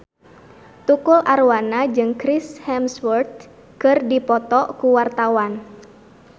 Tukul Arwana jeung Chris Hemsworth keur dipoto ku wartawan